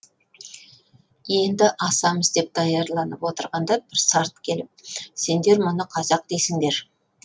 енді асамыз деп даярланып отырғанда бір сарт келіп сендер мұны қазақ дейсіңдер